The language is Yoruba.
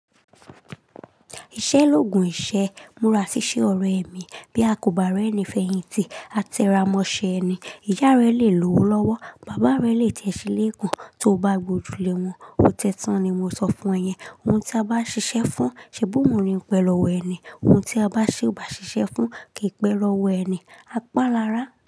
Ìṣẹ́ l'ògùn ìṣẹ́. Múra ṣíṣe ọ̀rẹ́ mi. Bí a kò bá rẹ́ni, fẹ̀yìntì a tẹra mọṣe ni. Ìyá rẹ le lowo lowo, bàbá rẹ le tẹ́ṣílé eko tó bá gbojú lé wọn. Ó tẹ́ tán ni mo sọ fún e yẹn. Ohun tí a bá ṣiṣẹ́ fún, ṣebi oun ni pẹ́ lọ́ wọ ẹni. Ohun tí a bá ṣe o bá ṣiṣẹ́ fún, kì í pẹ́ lọ́ wọ ẹni. A pá láara.